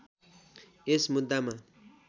यस मुद्दामा